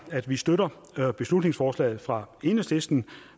at vi støtter beslutningsforslaget fra enhedslisten